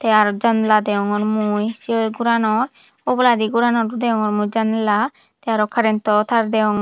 tey araw janala degongor mui sei goranot oboladi goranot oo degongor mui janala tey araw karento taar degongor.